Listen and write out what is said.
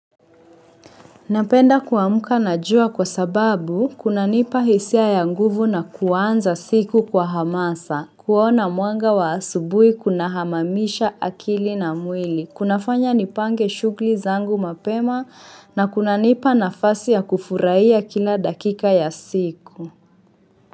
Napenda kuamuka na jua kwa sababu kuna nipa hisia ya nguvu na kuanza siku kwa hamasa, kuona mwanga wa asubui kuna hamamisha akili na mwili, kuna fanya nipange shughuli zangu mapema na kuna nipa nafasi ya kufurahia kila dakika ya siku.